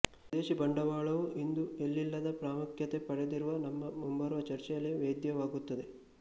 ವಿದೇಶಿ ಬಂಡವಾಳವು ಇಂದು ಎಲ್ಲಿಲ್ಲದ ಪ್ರಾಮುಖ್ಯತೆ ಪಡೆದಿರುವುದು ನಮ್ಮ ಮುಂಬರುವ ಚರ್ಚೆಯಲ್ಲಿ ವೇದ್ಯವಾಗುತ್ತದೆ